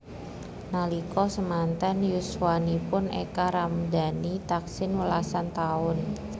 Nalika semanten yuswanipun Eka Ramdani taksih welasan taun